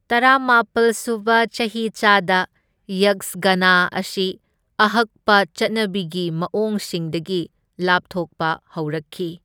ꯇꯔꯥꯃꯥꯄꯜ ꯁꯨꯕ ꯆꯍꯤꯆꯥꯗ ꯌꯛꯁꯒꯥꯅꯥ ꯑꯁꯤ ꯑꯍꯛꯄ ꯆꯠꯅꯕꯤꯒꯤ ꯃꯑꯣꯡꯁꯤꯡꯗꯒꯤ ꯂꯥꯞꯊꯣꯛꯄ ꯍꯧꯔꯛꯈꯤ꯫